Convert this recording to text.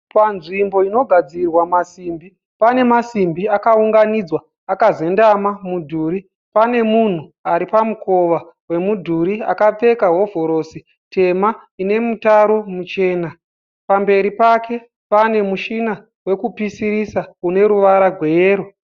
Panzvimbo inogadzirwa masimbi. Pane masimbi akaunganidzwa akazembera mudhuri. Pane munhu ari pamukova wemudhuri akapfeka hovhorosi tema ine mutaro muchena. Pamberi pake pane mushina wekupeisisa une ruvara gweyero.